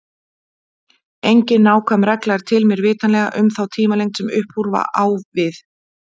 Engin nákvæm regla er til, mér vitanlega, um þá tímalengd sem upp úr á við.